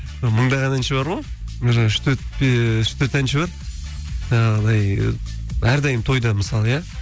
мыңдаған әнші бар ғой үш төрт әнші бар жаңағыдай әрдайым тойда мысалы иә